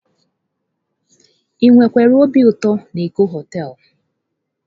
Ị wekwara obi ụtọ na Eko họtelu?